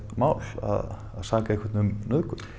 mál að saka einhvern um nauðgun